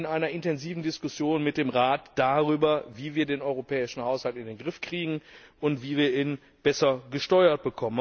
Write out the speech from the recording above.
Wir sind also in einer intensiven Diskussion mit dem Rat darüber, wie wir den europäischen Haushalt in den Griff kriegen und wie wir ihn besser steuern.